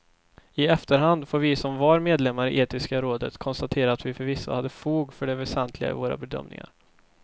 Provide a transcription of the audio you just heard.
I efterhand får vi som var medlemmar i etiska rådet konstatera att vi förvisso hade fog för det väsentliga i våra bedömningar.